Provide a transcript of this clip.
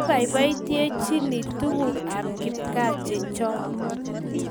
Kibaibaitynchini tukuk ab kipkaa chechoo